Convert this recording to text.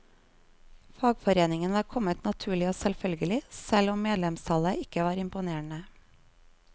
Fagforeningen var kommet naturlig og selvfølgelig, selv om medlemstallet ikke var imponerende.